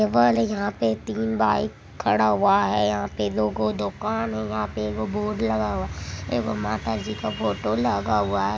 यहाँ पे तीन बाइक खड़ा हुआ है यहाँ पे दो गो दोकान है यहाँ पे एगो बोर्ड लगा हुआ है एगो माता जी का फोटो लगा हुआ है।